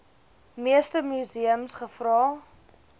meeste museums gevra